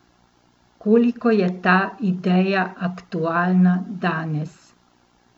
Koliko je ta ideja aktualna danes?